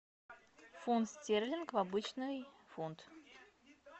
фунт стерлинг в обычный фунт